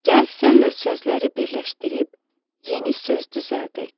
Gəl sənlə sözləri birləşdirib yeni söz düzəldək.